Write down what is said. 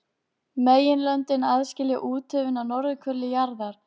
Meginlöndin aðskilja úthöfin á norðurhveli jarðar.